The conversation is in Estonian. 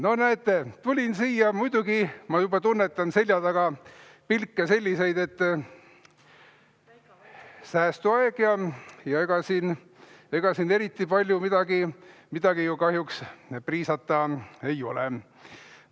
No näete, tulin siia ja muidugi ma juba tunnetan selja taga selliseid pilke, et säästuaeg ja ega siin eriti palju kahjuks midagi priisata ei ole.